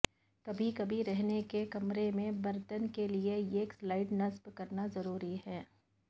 کبھی کبھی رہنے کے کمرے میں برتن کے لئے ایک سلائڈ نصب کرنا ضروری ہے